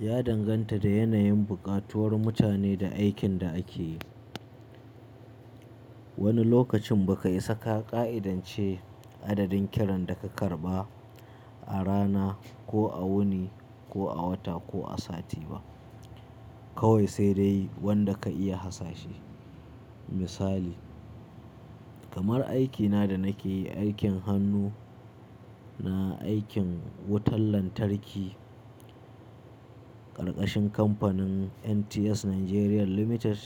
Ya danganta da yanayin buƙatuwar mutane da aikin da ake yi. Wani lokacin ba ka isa ka ƙa'idance adadin kiran da ka karɓa a rana ko a wuni ko a wata ko a sati ba, kawai sai dai wanda ka iya hasashe. Misali, kamar aikina da nake yi, aikin hannu na aikin wutar lantarki, ƙarƙashin kamfanin NTS Nigeria Limited,